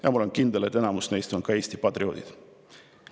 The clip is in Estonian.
Ja ma olen kindel, et enamus neist on ka Eesti patrioodid.